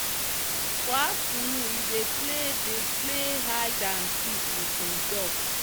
for afternoon e dey play dey play hide and seek with him duck.